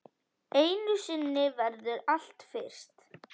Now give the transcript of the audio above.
Einu sinni verður allt fyrst.